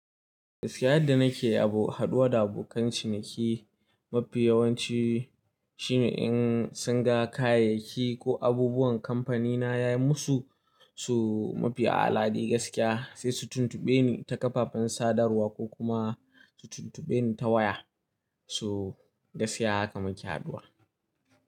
Gaskiya yadda nake abu, haɗuwa da abokan ciniki mafi yawanci shine in sun ga kayayyaki ko abubuwan kamfanina ya yi musu su mafi a'ala dai gaskiya, sai su tuntube ni ta kafafen sadarwa ko kuma su tuntube ni ta waya. So gaskiya haka muke haduwa.